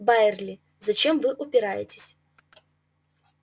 байерли зачем вы упираетесь